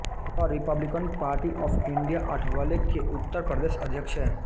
वह republican party of India Athawale के उत्तर प्रदेश अध्यक्ष हैं